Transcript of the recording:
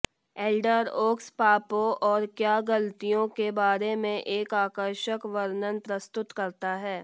Elder Oaks पापों और क्या गलतियों के बारे में एक आकर्षक वर्णन प्रस्तुत करता है